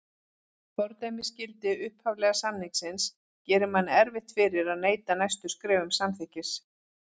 Fordæmisgildi upphaflega samþykkisins gerir manni erfitt fyrir að neita næstu skrefum samþykkis.